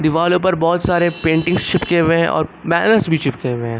दीवारों पर बहुत सारे पेंटिंग चिपके हुए हैं और बैनर्स भी चिपके हुए हैं।